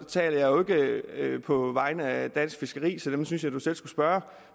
taler på vegne af dansk fiskeri så dem synes jeg du selv skulle spørge